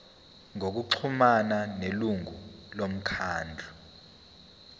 ngokuxhumana nelungu lomkhandlu